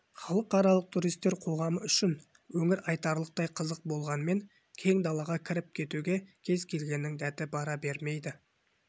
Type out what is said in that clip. халықаралық туристер қоғамы үшін өңір айтарлықтай қызық болғанмен кең далаға кіріп кетуге кез-келгеннің дәті бара бермейді